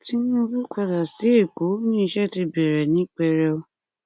tinúbú padà sí ẹkọ ó ní iṣẹ ti bẹrẹ ní pẹrẹu